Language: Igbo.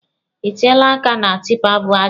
Ị tiela aka na tipa bu aja.